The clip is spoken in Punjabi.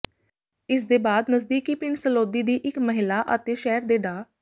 ਇਸਦੇ ਬਾਅਦ ਨਜ਼ਦੀਕੀ ਪਿੰਡ ਸਲੌਦੀ ਦੀ ਇੱਕ ਮਹਿਲਾ ਅਤੇ ਸ਼ਹਿਰ ਦੇ ਡਾ